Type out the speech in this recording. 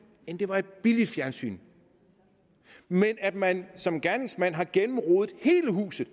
eller det var et billigt fjernsyn men det at man som gerningsmand har gennemrodet hele huset